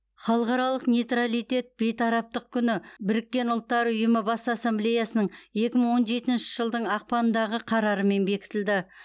халықаралық нейтралитет бейтараптық күні біріккен ұлттар ұйымы бас ассамблеясының екі мың он жетінші жылдың ақпанындағы қарарымен бекітілді